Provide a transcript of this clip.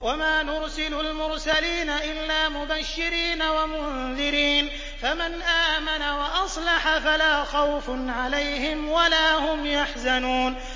وَمَا نُرْسِلُ الْمُرْسَلِينَ إِلَّا مُبَشِّرِينَ وَمُنذِرِينَ ۖ فَمَنْ آمَنَ وَأَصْلَحَ فَلَا خَوْفٌ عَلَيْهِمْ وَلَا هُمْ يَحْزَنُونَ